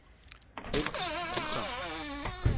Bendt Hansson